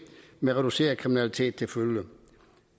med reduceret kriminalitet til følge